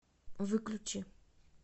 выключи